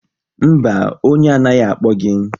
Mba, onye anaghị akpọ gị